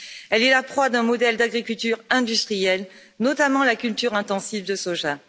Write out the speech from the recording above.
Elle est la proie d'un modèle d'agriculture industrielle, notamment la culture intensive de soja.